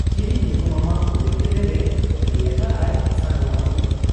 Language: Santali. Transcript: ᱪᱤᱞᱤ ᱧᱩᱛᱩᱢᱟᱢᱟ ᱠᱩᱞᱤᱠᱮᱫᱮᱨᱮ ᱞᱟᱹᱭ ᱟᱠᱟᱜ ᱟᱭ, 'ᱥᱟᱨᱚ ᱢᱟᱹᱨᱰᱤ ᱾'